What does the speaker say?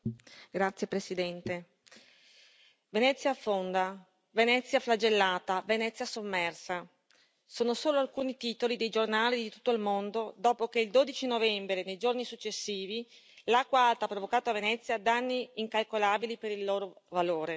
Signora Presidente, onorevoli colleghi, Venezia affonda, Venezia flagellata, Venezia sommersa, sono solo alcuni titoli dei giornali di tutto il mondo dopo che il 12 novembre e nei giorni successivi l'acqua alta ha provocato a Venezia danni incalcolabili per il loro valore.